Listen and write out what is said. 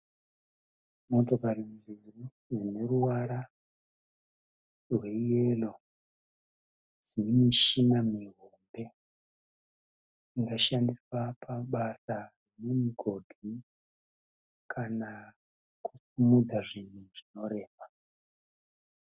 Motokari dzineruvara rweyero dzemishina mihombe inoshandiswa pabasa remumugodhi kana kusimudza zvinhu zvinorema.